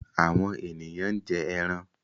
Àwọn èèyàn ń jẹ ẹran.